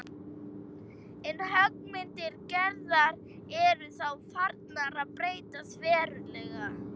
En höggmyndir Gerðar eru þá farnar að breytast verulega.